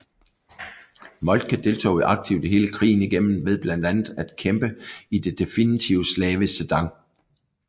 Moltke deltog aktivt hele krigen igennem ved blandt andet at kæmpe i det definitive slag ved Sedan